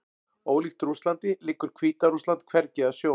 Ólíkt Rússlandi liggur Hvíta-Rússland hvergi að sjó.